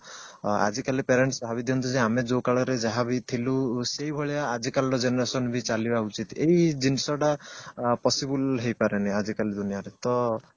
ଆଜି କାଲି parents ଭାବି ଦିଅନ୍ତି ଯେ ଆମେ ଯୋଉ କାଳରେ ଯାହାବି ଥିଲୁ ସେଇ ଭଳିଆ ଆକି କାଲିର generation ବି ଚାଲିବା ଉଚିତ ଏଇ ଜିନିଷଟା possible ହେଇ ପାରେନି ଆଜି କାଲି ଦୁନିଆରେ ତ